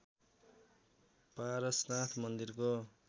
पारसनाथ मन्दिरको